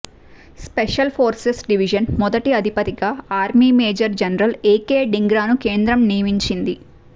special forces division మొదటి అధిపతిగా army major general A K ధింగ్రాను కేంద్రం నియమించింది